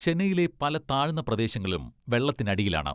ചെന്നൈയിലെ പല താഴ്ന്ന പ്രദേശങ്ങളും വെള്ള ത്തിനടിയിലാണ്.